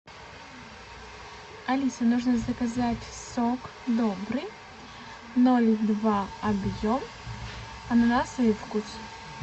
алиса нужно заказать сок добрый ноль два объем ананасовый вкус